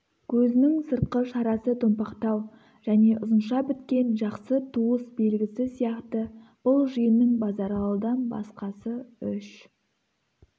көзінің сыртқы шарасы томпақтау және ұзынша біткен жақсы туыс белгісі сияқты бұл жиынның базаралыдан басқасы үш